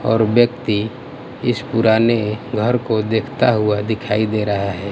और व्यक्ति इस पुराने घर को देखता हुआ दिखाई दे रहा है।